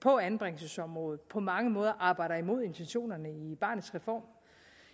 på anbringelsesområdet på mange måder arbejder imod intentionerne i barnets reform